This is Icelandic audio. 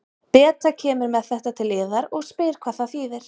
Beta kemur með þetta til yðar og spyr hvað það þýðir.